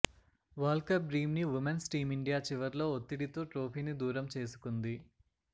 world cup dream ని women's team India చివర్లో ఒత్తిడితో ట్రోఫీని దూరం చేసుకుంది